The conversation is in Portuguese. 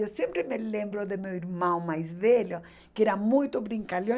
Eu sempre me lembro do meu irmão mais velho, que era muito brincalhão.